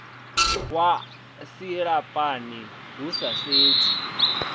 wa silahapani hu sa sedzwi